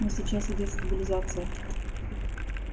но сейчас идёт стабилизация